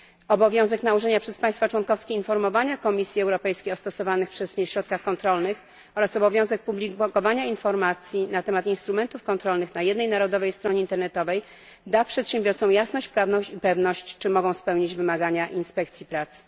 Obowiązek informowania przez państwa członkowskie Komisji Europejskiej o stosowanych przez nie środkach kontrolnych oraz obowiązek publikowania informacji na temat instrumentów kontrolnych na jednej narodowej stronie internetowej da przedsiębiorcom jasność prawną i pewność, czy mogą spełnić wymagania inspekcji pracy.